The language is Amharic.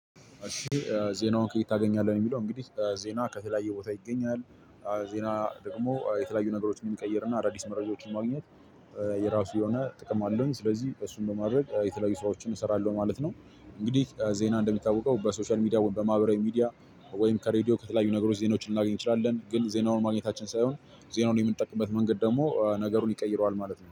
እሺ ዜናውን ከየት ታገኛለህ? የሚለው እንግዲህ ዜና ከተለያየ ቦታ ይገኛል። ዜና ደግሞ የተለያዩ ነገሮችን የሚቀይርና አዳዲስ መረጃዎችን ማግኘት የራሱ የሆነ ጥቅም አለው። ስለዚህ እሱን በማድረግ የተለያዩ ስራዎችን እሰራለሁ ማለት ነው። እንግዲህ ዜና እንደሚታወቀው በሶሻል ሚዲያ በማህበራዊ ሚዲያ ወይም ከሬድዮ ከተለያዩ ነገሮች ዜናዎችን ልናገኝ እንችላለን። ግን ዜናውን ማግኘታችን ሳይሆን ዜናውን የምንጠቅምበት መንገድ ደግሞ ነገሩን ይቀይረዋል። ማለት ነው